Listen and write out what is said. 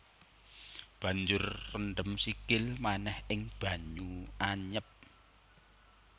Banjur rendem sikil manéh ing banyu anyep